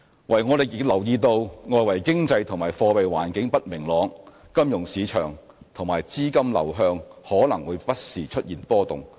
唯我們亦留意到外圍經濟及貨幣環境不明朗，金融市場及資金流向可能會不時出現波動。